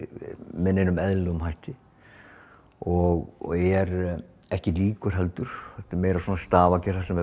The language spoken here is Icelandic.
með neinum eðlilegum hætti og er ekki lík heldur meira stafagerð þar sem